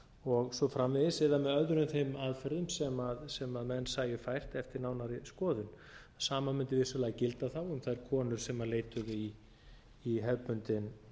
og svo framvegis eða með öðrum þeim aðferðum sem menn sæju fært eftir nánari skoðun sama mundi vissulega gilda þá um þær konur sem leituðu í